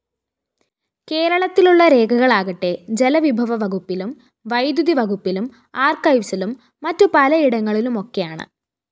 കേരളത്തിലുള്ള രേഖകളാകട്ടെ ജലവിഭവവകുപ്പിലും വൈദ്യുതിവകുപ്പിലും ആര്‍ക്കൈവ്സിലും മറ്റു പലയിടങ്ങളിലുമൊക്കെയാണ്‌